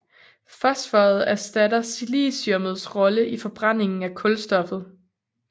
Fosforet erstatter siliciummets rolle i forbrændingen af kulstoffet